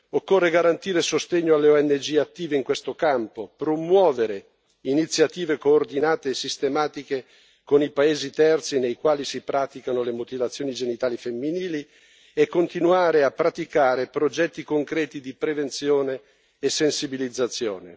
Occorre garantire sostegno alle ONG attive in questo campo, promuovere iniziative coordinate e sistematiche con i paesi terzi nei quali si praticano le mutilazioni genitali femminili e continuare a praticare progetti concreti di prevenzione e sensibilizzazione.